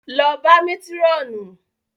Lọ bá Métírọ̀nù!